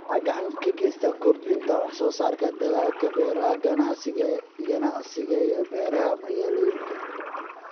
Waxay gacan ka geysataa kordhinta wax-soo-saarka dalagga beeraha ganacsiga iyo beeraha magaalooyinka.